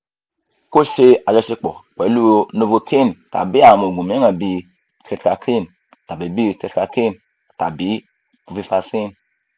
ko ṣe ajọṣepọ pẹlu novocaine tabi awọn oogun miiran bi tetracaine tabi bi tetracaine tabi cs] bupivacaine